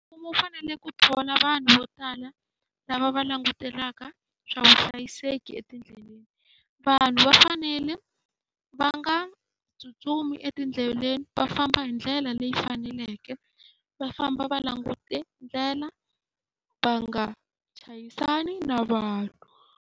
Mfumo wu fanele ku thola vanhu vo tala lava va langutelaka swa vuhlayiseki etindleleni. Vanhu va fanele va nga tsutsumi etindleleni, va famba hi ndlela leyi faneleke, va famba va langute ndlela va nga chayisana na vanhu.